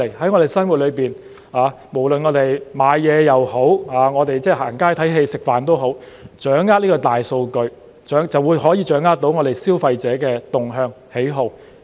在我們的生活，無論購物也好，逛街、看戲、吃飯也好，掌握大數據就可以掌握消費者的動向、喜好。